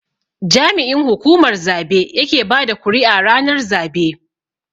jami'in hukumar zabe yake bada kuri'a ranar zabe.